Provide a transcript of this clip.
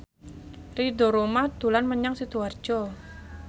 Ridho Roma dolan menyang Sidoarjo